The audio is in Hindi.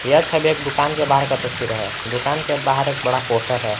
यह छवि एक दुकान के बाहर का तस्वीर है दुकान के बाहर एक बड़ा पोस्टर है।